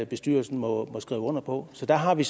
bestyrelsen må skrive under på så der har vi